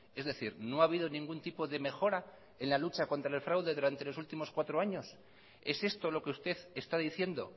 es decir no ha habido ningún tipo de mejora en la lucha contra el fraude durante los últimos cuatro años es esto lo que usted está diciendo